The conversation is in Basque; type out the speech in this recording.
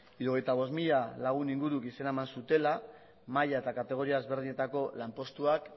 hirurogeita bost mila lagun inguruk izena eman zutela maila eta kategoria ezberdinetako lanpostuak